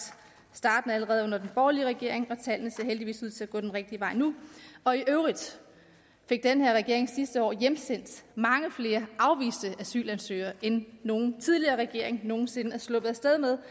allerede under den borgerlige regering og tallene ser heldigvis ud til at gå den rigtige vej nu og i øvrigt fik den her regering sidste år hjemsendt mange flere afviste asylansøgere end nogen tidligere regering nogen sinde er sluppet af sted med